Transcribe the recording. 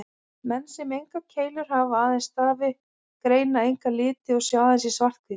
Menn sem engar keilur hafa, aðeins stafi, greina enga liti og sjá aðeins í svart-hvítu.